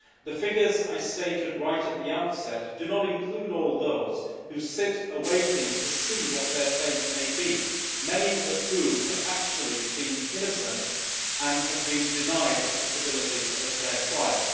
The figure I stated earlier does not include all those who sit waiting to see what their fate may be, many of whom are actually innocent and have been denied the possibility of a fair trial.